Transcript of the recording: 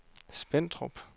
Spentrup